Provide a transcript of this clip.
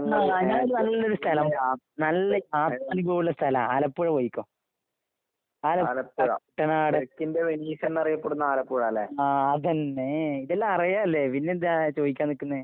ന്നാ ഞാനൊര് നല്ലൊര് സ്ഥലം പറയാം. നല്ല ഉള്ള സ്ഥലാ, ആലപ്പുഴ പോയിക്കോ. ആല കുട്ടനാട് ആഹ് അതന്നെ. ഇതെല്ലാം അറിയാല്ലേ പിന്നെന്താ ചോയിക്കാൻ നിക്കുന്നെ?